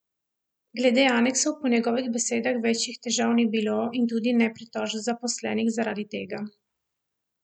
Glede aneksov po njegovih besedah večjih težav ni bilo in tudi ne pritožb zaposlenih zaradi tega.